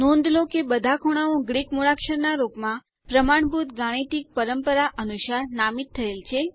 નોંધ લો કે બધા ખૂણાઓ ગ્રીક મૂળાક્ષરો ના રૂપમાં પ્રમાણભૂત ગાણિતિક પરંપરા અનુસાર નામિત થયેલ છે